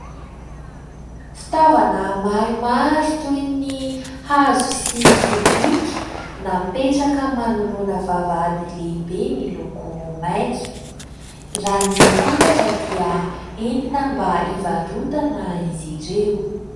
Fitaovana maromaro toy ny hazo sy sobika napetraka manoloana vavahady lehibe miloko maitso, raha ny fantatra dia entina mba ivarotana izy ireo.